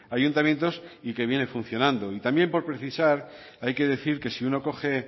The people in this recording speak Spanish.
ayuntamientos y que viene funcionando y también por precisar hay que decir que si uno coge